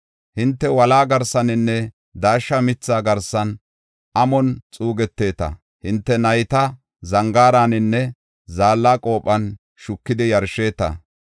Hinte wolaa garsaninne daashsha mitha garsan amon xuugeteeta. Hinte nayta zangaaraninne zaalla qophon shukidi yarsheeta.